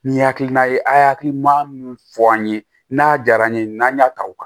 Ni hakilina ye a' ye hakilina min fɔ an ye n'a diyara an ye n'an y'a ta u